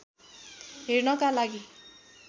हेर्नका लागि